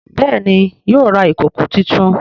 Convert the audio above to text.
Béèni yóò rà ìkọkọ títún.